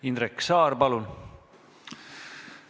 Indrek Saar, palun!